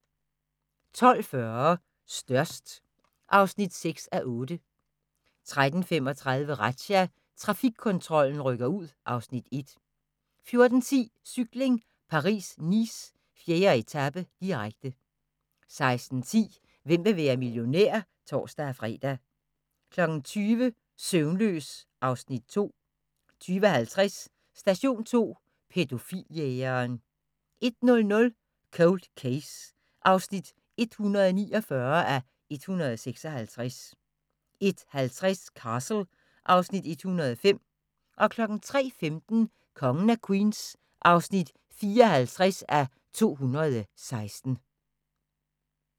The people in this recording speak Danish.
12:40: Størst (6:8) 13:35: Razzia – Trafikkontrollen rykker ud (Afs. 1) 14:10: Cykling: Paris-Nice - 4. etape, direkte 16:10: Hvem vil være millionær? (tor-fre) 20:00: Søvnløs (Afs. 2) 20:50: Station 2: Pædofil-jægeren 01:00: Cold Case (149:156) 01:50: Castle (Afs. 105) 03:15: Kongen af Queens (54:216)